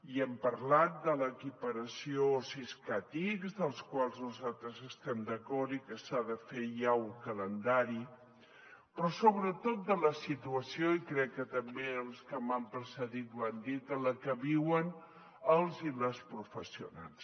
i hem parlat de l’equiparació siscat ics amb què nosaltres estem d’acord i que s’ha de fer ja un calendari però sobretot de la situació i crec que també els que m’han precedit ho han dit en la que viuen els i les professionals